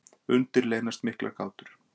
Undir leynast miklar gátur.